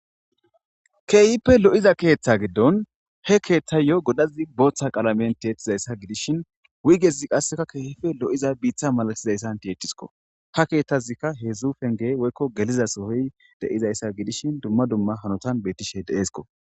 Hehipe lo7iza keththa gidon he kethayo godazi boththa qalamen ti7etizaysa gidishin wuygeza qase keehippe lo7iza mitta malatizaysan ti7etisko. Ha keththazika heezhu pence woyko geliza sohoy de7izaysa gidishin dumma dumma hanotan betishe de7esko.